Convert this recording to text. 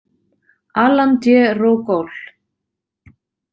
Alan D Rogol.